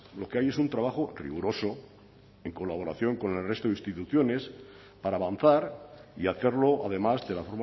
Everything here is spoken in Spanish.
lo que hay es un trabajo riguroso en colaboración con el resto de instituciones para avanzar y hacerlo además de la